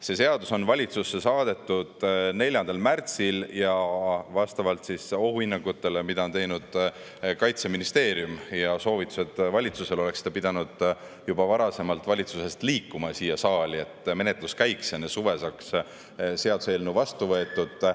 See seadus on valitsusse saadetud 4. märtsil ja vastavalt Kaitseministeeriumi ohuhinnangutele ja valitsusele antud soovitustele oleks see pidanud juba varasemalt valitsusest siia saali liikuma, et menetlus käiks ja enne suve saaks seaduseelnõu vastu võetud.